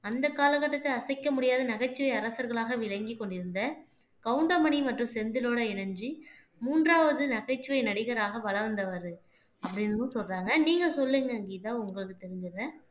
அந்த காலகட்டத்தை அசைக்க முடியாத நகைச்சுவை அரசர்களாக விளங்கிக் கொண்டிருந்த கவுண்டமணி மற்றும் செந்திலோட இணைஞ்சு மூன்றாவது நகைச்சுவை நடிகராக வலம் வந்தவர் அப்படின்னும் சொல்றாங்க நீங்க சொல்லுங்க கீதா உங்களுக்கு தெரிஞ்சத